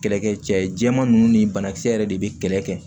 Kɛlɛ kɛ cɛ jɛman ninnu ni banakisɛ yɛrɛ de bɛ kɛlɛ kɛ